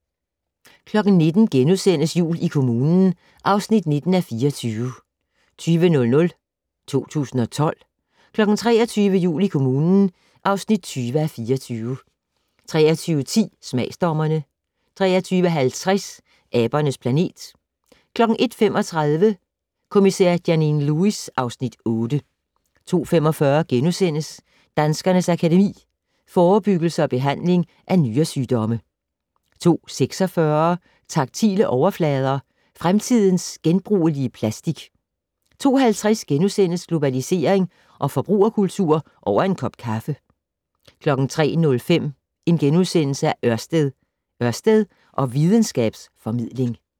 19:00: Jul i kommunen (19:24)* 20:00: 2012 23:00: Jul i kommunen (20:24) 23:10: Smagsdommerne 23:50: Abernes planet 01:35: Kommissær Janine Lewis (Afs. 8) 02:45: Danskernes Akademi: Forebyggelse og behandling af nyresygdomme * 02:46: Taktile overflader - fremtidens genbrugelige plastik 02:50: Globalisering og forbrugerkultur - over en kop kaffe * 03:05: Ørsted - Ørsted og videnskabs-formidling *